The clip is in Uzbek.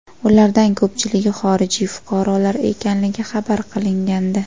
Ulardan ko‘pchiligi xorijiy fuqarolar ekanligi xabar qilingandi.